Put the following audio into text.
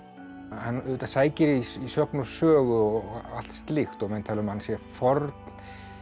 hann auðvitað sækir í sögn og sögu og allt slíkt og menn tala um að hann sé forn